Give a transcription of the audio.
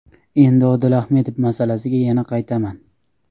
Endi Odil Ahmedov masalasiga yana qaytaman.